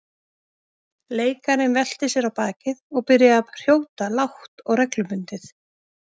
Leikarinn velti sér á bakið og byrjaði að hrjóta lágt og reglubundið.